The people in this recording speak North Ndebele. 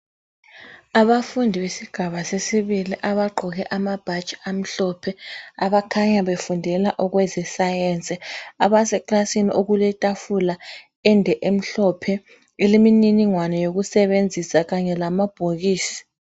Abafundi besigaba sesibili abagqoke amabhatshi amhlophe abakhanya befundela okweze science abaze ekilasini okuletafula ende emhlophe elemininingwane yokusebenzisa kanye lamabhokisi